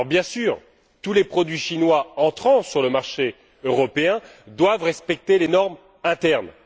Bien sûr, tous les produits chinois entrant sur le marché européen doivent respecter les normes internes.